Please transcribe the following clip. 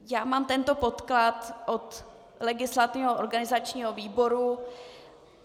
Já mám tento podklad od legislativního, organizačního výboru.